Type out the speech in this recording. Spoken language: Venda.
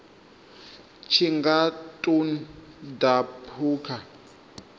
tshi nga ṱun ḓa phukha